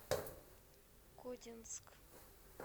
кодинск